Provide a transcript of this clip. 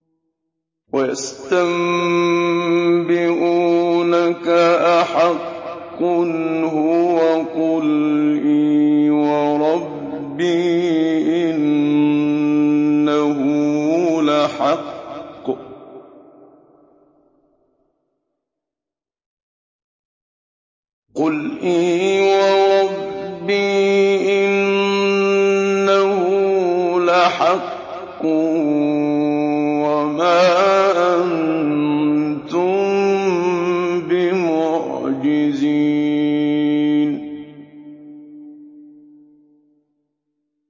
۞ وَيَسْتَنبِئُونَكَ أَحَقٌّ هُوَ ۖ قُلْ إِي وَرَبِّي إِنَّهُ لَحَقٌّ ۖ وَمَا أَنتُم بِمُعْجِزِينَ